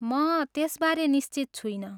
म त्यसबारे निश्चित छुइनँ।